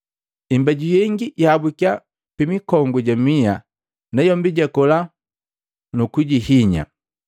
Imbeju yengi yahabukiya pi mikongu ja miha, nayombi jakola nukujihinya.